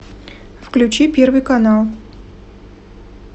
включи первый канал